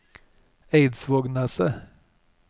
Eidsvågneset